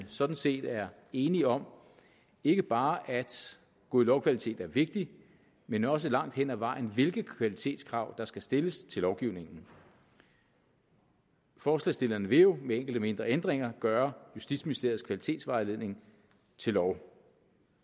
sådan set er enige om ikke bare at god lovkvalitet er vigtig men også langt hen ad vejen hvilke kvalitetskrav der skal stilles til lovgivningen forslagsstillerne vil jo med enkelte mindre ændringer gøre justitsministeriets kvalitetsvejledning til lov